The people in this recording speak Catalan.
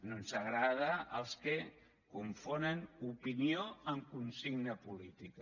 no ens agraden els que confonen opinió amb consigna política